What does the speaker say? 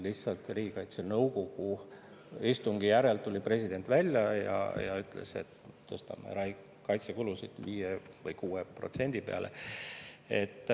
Lihtsalt riigikaitsenõukogu istungi järel tuli president välja ja ütles, et tõstame kaitsekulud 5% või 6% peale.